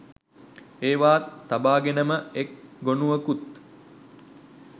ඒවාත් තබාගෙනම එක් ගොනුවකුත්